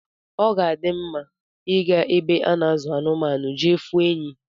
Oga adim mma iga na ebe ana azu anụmaụ jee fụ enyi